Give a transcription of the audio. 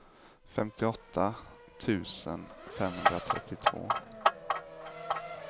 femtioåtta tusen femhundratrettiotvå